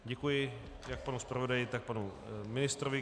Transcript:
Děkuji jak panu zpravodaji, tak panu ministrovi.